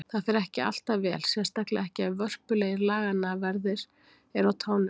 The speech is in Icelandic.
Það fer ekki alltaf vel, sérstaklega ekki ef vörpulegir laganna verðir eru á tánum.